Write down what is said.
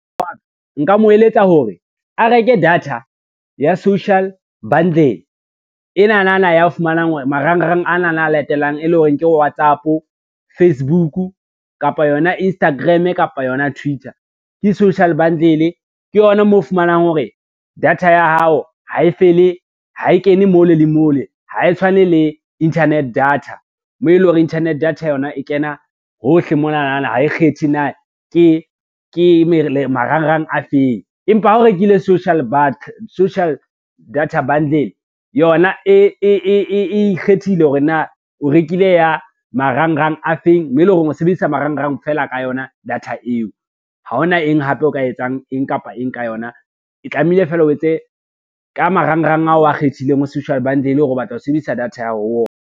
Nka mo eletsa hore a reke data ya social bundle, enanana ya o fumanang hore marangrang ana a latelang, e leng hore ke WhatsApp, Facebook kapa yona Instagram kapa yona Twitter. Ke social bundle, ke yona mo o fumanang hore data ya hao ha e fele, ha e kene mole le mole, ha e tshwane le internet data mo eleng hore internet data yona e kena hohle monana ha e kgethe na ke marangrang a feng. Empa ha o rekile social data bundle yona e ikgethile hore na o rekile ya marangrang a feng mo e leng hore o sebedisa marangrang fela ka yona data eo, ha hona eng hape o ka etsang eng kapa eng ka yona, e tlamehile fela o etse ka marangrang ao a kgethileng ho social bundle hore o batla ho sebedisa data ya hao ho ona.